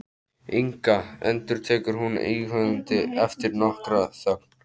Inga, endurtekur hún íhugandi eftir nokkra þögn.